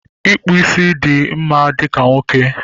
Ịkpụ ísí dị mma dịka nwoke